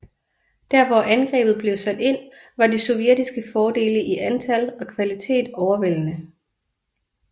Der hvor angrebet blev sat ind var de sovjetiske fordele i antal og kvalitet overvældende